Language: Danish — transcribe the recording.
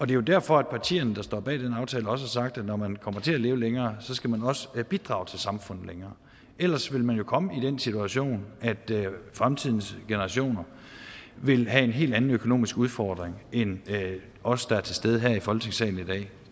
det er jo derfor at partierne der står bag den aftale også har sagt at når man kommer til at leve længere så skal man også have bidraget til samfundet længere ellers vil man jo komme i den situation at fremtidens generationer vil have en helt anden en økonomisk udfordring end os der er til stede her i folketingssalen i dag